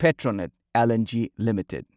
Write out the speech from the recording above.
Petronet LNG limited